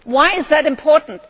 do. Why is that important?